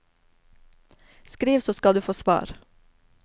Skriv så skal du få svar.